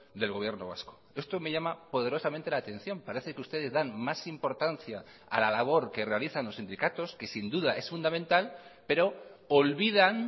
del gobierno vasco esto me llama poderosamente la atención parece que ustedes dan más importancia a la labor que realizan los sindicatos que sin duda es fundamental pero olvidan